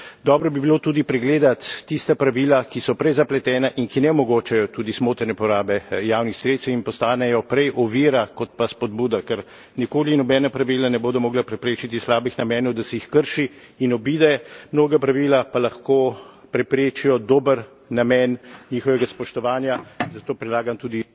Dobro bi bilo tudi pregledati tista pravila, ki so prezapletena in ki ne omogočajo tudi smotrne porabe javnih sredstev in postanejo prej ovira kot pa spodbuda, ker nikoli nobena pravila ne bodo mogla preprečiti slabih namenov, da se jih krši in obide, mnoga pravila pa lahko preprečijo dober namen njihovega spoštovanja, zato predlagam tudi